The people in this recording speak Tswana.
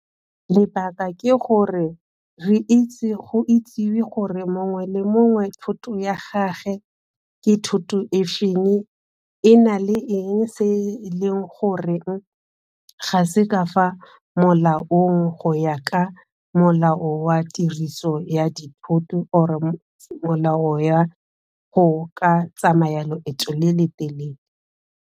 Lebaka ke gore, re itse go itsiwe gore mongwe le mongwe thoto ya gagwe ke thoto e feng, e na le eng se e leng goreng ga se ka fa molaong go ya ka molao wa tiriso ya dithoto or molao wa go ka tsamaya loeto le le telele.